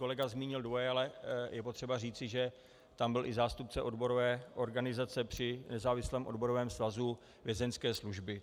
Kolega zmínil dvoje, ale je potřeba zmínit, že tam byl i zástupce odborové organizace při nezávislém odborovém svazu Vězeňské služby.